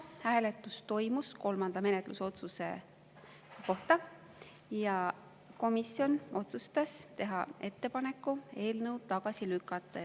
Hääletus toimus kolmanda menetlusotsuse üle ja komisjon otsustas teha ettepaneku eelnõu tagasi lükata.